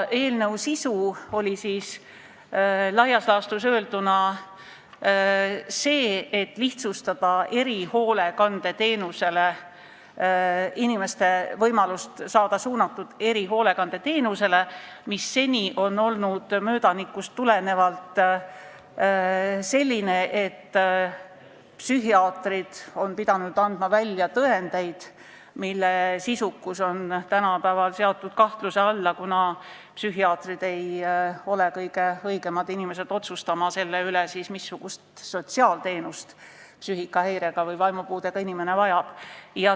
Eelnõu sisu on laias laastus öelduna see, et lihtsustatakse inimeste võimalust saada erihoolekandeteenust, mis seni on möödanikust tulenevalt toimunud nii, et psühhiaatrid on pidanud välja andma tõendeid, mille sisukus on tänapäeval seatud kahtluse alla, kuna psühhiaatrid ei ole kõige õigemad inimesed otsustama selle üle, missugust sotsiaalteenust psüühikahäirega või vaimupuudega inimene vajab.